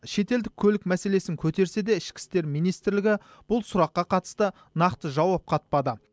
шетелдік көлік мәселесін көтерсе де ішкі істер министрлігі бұл сұраққа қатысты нақты жауап қатпады